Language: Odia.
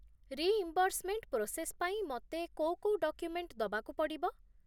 ରିଇମ୍ବର୍ସମେଣ୍ଟ ପ୍ରୋସେସ୍ ପାଇଁ ମତେ କୋଉ କୋଉ ଡକ୍ୟୁମେଣ୍ଟ ଦବାକୁ ପଡ଼ିବ?